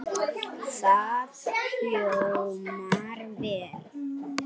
Það hljómar vel.